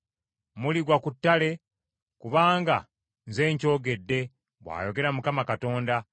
Muligwa ku ttale, kubanga nze nkyogedde, bw’ayogera Mukama Katonda.